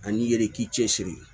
Ani ye k'i cɛsiri